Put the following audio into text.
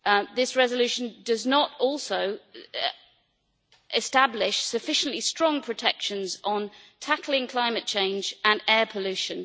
This resolution also does not establish sufficiently strong protections on tackling climate change and air pollution.